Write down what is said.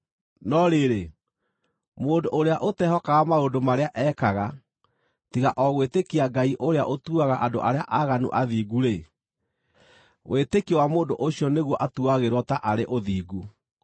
No rĩrĩ, mũndũ ũrĩa ũtehokaga maũndũ marĩa ekaga, tiga o gwĩtĩkia Ngai ũrĩa ũtuaga andũ arĩa aaganu athingu-rĩ, wĩtĩkio wa mũndũ ũcio nĩguo atuagĩrwo taarĩ ũthingu.